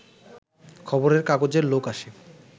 খবরের কাগজের লোক আসে